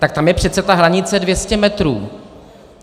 Tak tam je přece ta hranice 200 metrů.